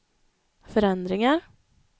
förändringar